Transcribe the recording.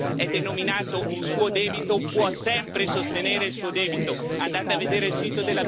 Andate a vedere il sito della BCE queste ricerche e questi discorsi sono pubblici per tutti.